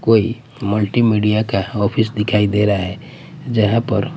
कोई multimedia का office दिखाई दे रहा हैं जहाँ पर--